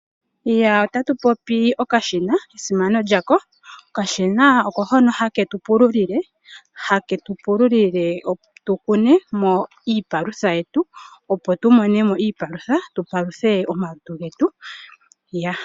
Otatu popi okashina, esimano lyako, okashina oko hoka hake tu pulile opo tukune mo iipalutha yetu, opo tumone mo iipalutha tu paluthe omalutu getu.